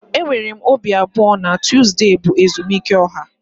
Enwere m obi abụọ na Tuzdee bụ ezumike ọha